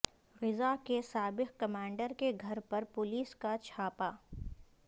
غزہ کے سابق کمانڈر کے گھر پر پولیس کا چھاپہ